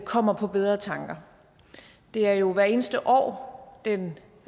kommer på bedre tanker det er jo hvert eneste år den